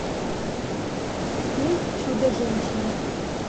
фильм чудо женщина